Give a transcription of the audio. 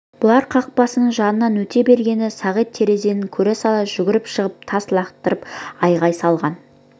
бұлар қақпасының жанынан өте бергенде сағит терезеден көре сала жүгіріп шығып тас лақтырып айғай салған